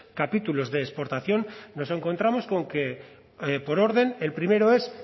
capítulos de exportación nos encontramos con que por orden el primero es